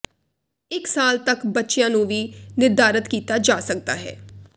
ਇਕ ਸਾਲ ਤਕ ਬੱਚਿਆਂ ਨੂੰ ਵੀ ਨਿਰਧਾਰਤ ਕੀਤਾ ਜਾ ਸਕਦਾ ਹੈ